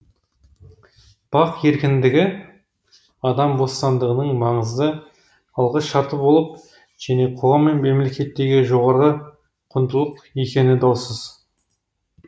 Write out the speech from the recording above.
бақ еркіндігі адам бостандығының маңызды алғы шарты болып және қоғам мен мемлекеттегі жоғарғы құндылық екені даусыз